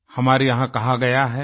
हमारे यहाँ कहा गया है